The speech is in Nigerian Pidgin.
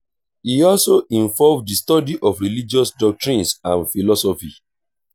e also involve di study of religious doctrines and philosophy